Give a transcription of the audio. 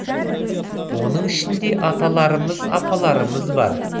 оның ішінде аталарымыз апаларымыз бар